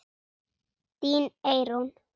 Þín Eyrún.